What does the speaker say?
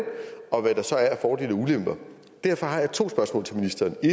og hvad der så er af fordele og ulemper derfor har jeg to spørgsmål til ministeren det